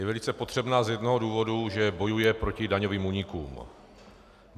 Je velice potřebná z jednoho důvodu, že bojuje proti daňovým únikům.